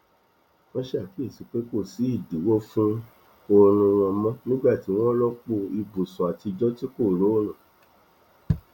wọn ṣàkíyèsí pé kò sí ìdíwọ fún oorun wọn mọ nígbà tí wọn rọpò ibùsùn àtijọ tí kò rọrùn